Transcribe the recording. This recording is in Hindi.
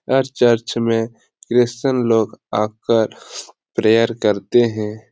हर चर्च में क्रिस्चियन लोग आकर प्रेयर करते हैं।